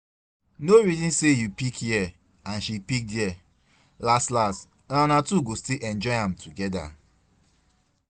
No reason say you pick here and she pick there, las las na una two go still enjoy am together